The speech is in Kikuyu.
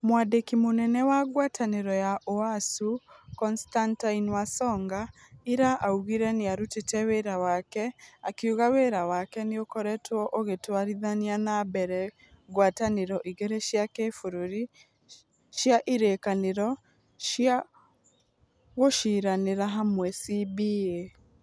Mwandiki munene wa ngwataniro ya ũasu Constantine Wasonga ira augire niarutite wira wake, akiuga wira wake niukoretwo ugitwarithia na mbere ngwataniro igiri cia kibururi cia irĩkanĩro cĩa guciranĩra hamwe CBA.